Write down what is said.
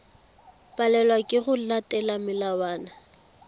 palelwa ke go latela melawana